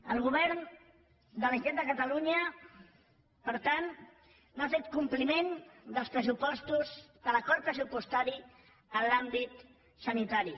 el govern de la generalitat de catalunya per tant no ha fet compliment de l’acord pressupostari en l’àmbit sanitari